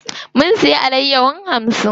Mun siya alayyahon hamsin.